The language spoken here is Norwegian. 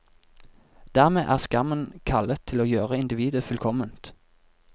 Dermed er skammen kallet til å gjøre individet fullkomment.